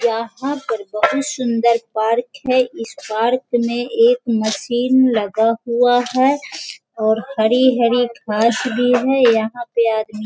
यहाँ पर बहुत सुंन्दर पार्क है इस पार्क में एक मशीन लगा हुआ है और हरी-हरी घास भी हैं और यहाँ पे आदमी --